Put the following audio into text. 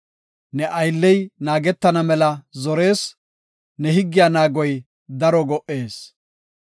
Ne aylley naagetana mela zorees; ne higgiya naagoy daro go77ees.